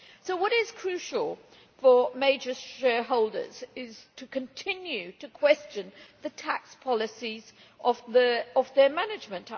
What is crucial for major shareholders is to continue questioning the tax policies of their management.